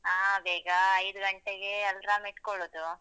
ಹ ಹ ಬೇಗ ಅಹ್ ಐದು ಗಂಟೆಗೆ alarm ಇಟ್ಕೊಳ್ಳೋದು.